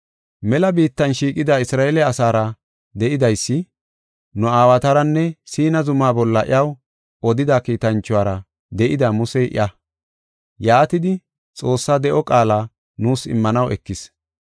Mela biittan shiiqida Isra7eele asaara de7idaysi, nu aawataranne Siina zuma bolla iyaw odida kiitanchuwara de7ida Musey iya. Yaatidi, Xoossaa de7o qaala nuus immanaw ekis.